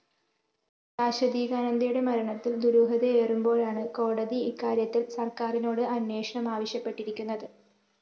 ശാശ്വതീകാനന്ദയുടെ മരണത്തില്‍ ദുരൂഹതയേറുമ്പോഴാണ് കോടതി ഇക്കാര്യത്തില്‍ സര്‍ക്കാരിനോട് അന്വേഷണം ആവശ്യപ്പെട്ടിരിക്കുന്നത്